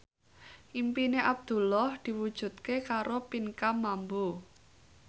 impine Abdullah diwujudke karo Pinkan Mambo